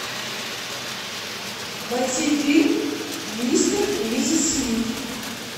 найти фильм мистер и миссис смит